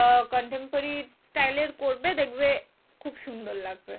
আহ contemporary style এর করবে দেখবে খুব সুন্দর লাগবে।